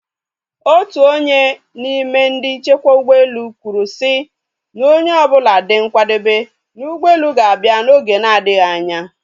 Otu onye n'ime ndị nchekwa ụgbọelu kwụrụe sị na onye ọbụla dị nkwadobe na ụgbọelu ga-abịa n'oge na adịghị anya